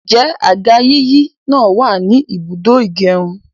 Ǹjẹ́ àga yíyí náà wàní ibùdó ìgẹrun?